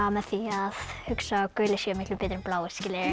með því að hugsa að gulir séu miklu betri en bláir